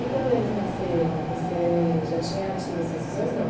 E quando eles nasceram, você já tinha tido essas visões, não?